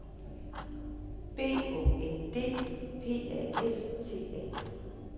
B Å N D P A S T A